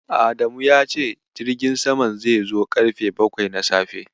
Adamu ya ce jirgin samam zai zo ƙarfe bakwai na safe.